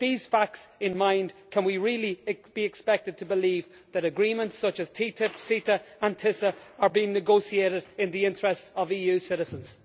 With these facts in mind, can we really be expected to believe that agreements such as TTIP, CETA and TISA are being negotiated in the interests of EU citizens?